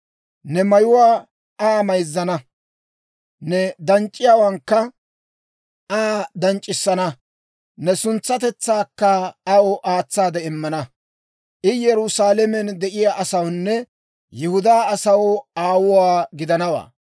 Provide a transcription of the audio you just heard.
Ne mayuwaa Aa mayzzana; ne danc'c'iyaawankka Aa danc'c'isana; ne suntsatetsaakka aw aatsaade immana. I Yerusaalamen de'iyaa asawunne Yihudaa asaw aawuwaa gidanawaa.